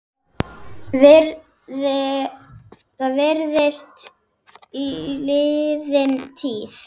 Það virðist liðin tíð.